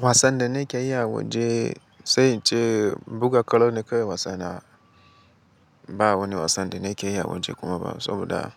Wasan da nake iya a waje, sai in ce buga kwallo ne kawai wasa na. Ba wani wasan da nake iya a waje kuma ba saboda